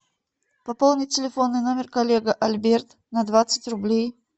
пополни телефонный номер коллега альберт на двадцать рублей